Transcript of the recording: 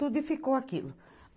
Tudo e ficou aquilo.